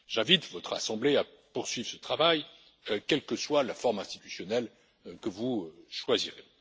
J'invite votre assemblée à poursuivre ce travail, quelle que soit la forme institutionnelle que vous choisirez.